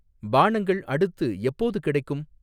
பானங்கள் அடுத்து எப்போது கிடைக்கும்?